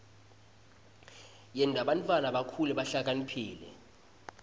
yenta bantfwana bakhule bahlakaniphile